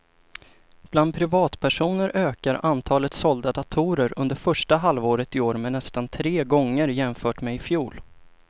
Bland privatpersoner ökade antalet sålda datorer under första halvåret i år med nästan tre gånger jämfört med i fjol.